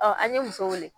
an ye muso wele